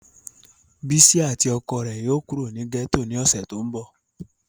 Bisi ati ọkọ rẹ yóò kuro ni gẹto ni ọsẹ to nbọ.